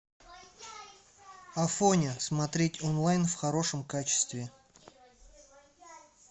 афоня смотреть онлайн в хорошем качестве